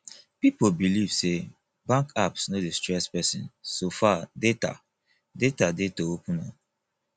pipo believe sey bank apps no dey stress person so far data data dey to open am